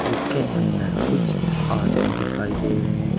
इसके अंदर कुछ आदमी दिखाई दे रहे हैं।